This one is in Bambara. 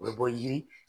O bɛ bɔ yiri